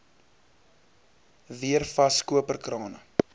weer vas koperkrane